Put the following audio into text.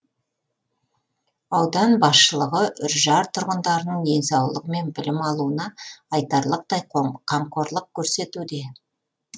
аудан басшылығы үржар тұрғындарының денсаулығы мен білім алуына айтарлықтай қамқорлық көрсетуде